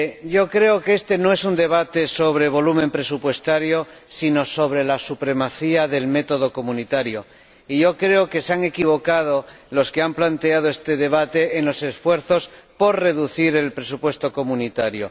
Yo creo que este no es un debate sobre volumen presupuestario, sino sobre la supremacía del método comunitario, y yo creo que se han equivocado los que han centrado este debate en los esfuerzos por reducir el presupuesto comunitario.